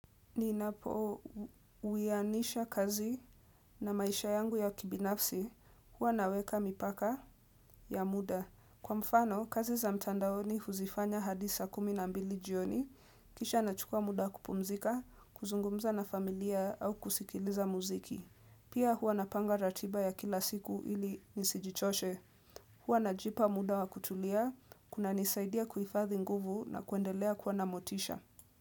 Ninapouwianisha kazi na maisha yangu ya kibinafsi, huwa naweka mipaka ya muda. Kwa mfano, kazi za mtandaoni huzifanya hadi saa kumi na mbili jioni, kisha nachukua muda kupumzika, kuzungumza na familia au kusikiliza muziki. Pia huwa napanga ratiba ya kila siku ili nisijichoshe. Huwa najipa muda wa kutulia, kunanisaidia kuifadhi nguvu na kuendelea kwa na motisha.